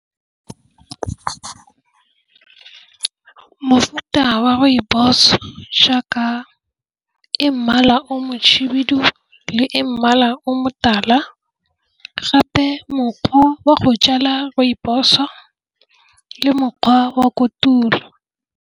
Mofuta wa rooibos o jaaka e mmala o mohibidu le e mmala o motala gape mokgwa wa go jala rooibos o le mokgwa wa kotulo.